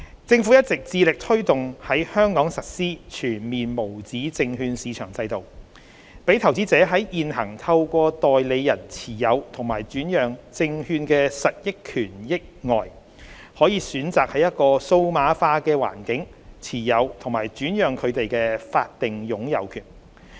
政府一直致力推動在香港實施全面無紙證券市場制度，讓投資者在現行透過代理人持有及轉讓證券的實益權益外，可選擇在一個數碼化的環境持有及轉讓證券的法定擁有權。